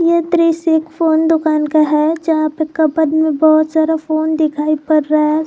ये दृश्य एक फोन दुकान का है जहां पर कबर्ड में बहोत सारा फोन दिखाई पड़ रहा है।